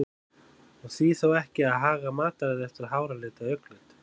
Og því þá ekki að haga mataræði eftir háralit eða augnlit?